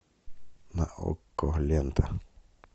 на окко лента